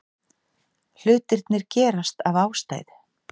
Hlutirnir gerast af ástæðu.